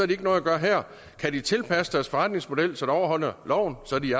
de ikke noget at gøre her kan de tilpasse deres forretningsmodel så de overholder loven så er de